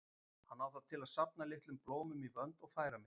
Hann á það til að safna litlum blómum í vönd og færa mér.